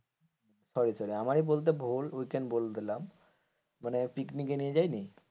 আমারই বলতে ভুল weekend বলে দিলাম মানে পিকনিকে নিয়ে যায়নি,